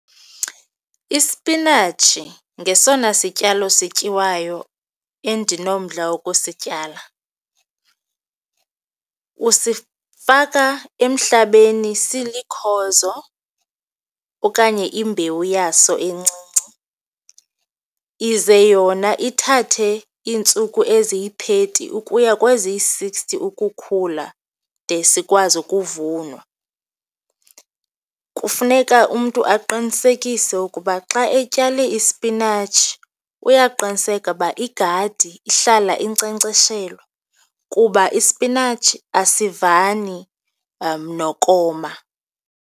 Ispinatshi ngesona sityalo sityiwayo endinomdla wokusityala. Usifaka emhlabeni silikhozo okanye imbewu yaso encinci. Ize yona ithathe iintsuku eziyi-thirty ukuya kweziyi-sixty ukukhula de sikwazi ukuvunwa. Kufuneka umntu aqinisekise ukuba xa etyala ispinatshi uyaqiniseka uba igadi ihlala inkcenkceshelwa kuba ispinatshi asivani nokoma.